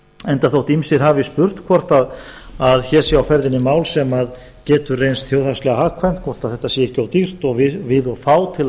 enda þótt ýmsir hafi spurt hvort hér sé á ferðinni mál sem getur reynst þjóðhagslega hagkvæmt hvort þetta sé ekki of dýrt og við of fá til að